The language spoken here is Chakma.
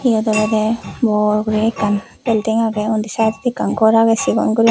iyot olode bor guri ekkan belding agey undi side ot ekkan ghor agey sigon ghor.